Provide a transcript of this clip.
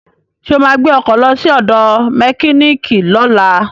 Ṣo ma gbé ọkọ̀ lọ sí ọ̀dọ̀ mẹkíníìkì lọ́la?